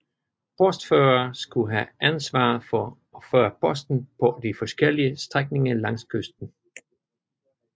Postførere skulle have ansvaret for at føre posten på de forskellige strækninger langs kysten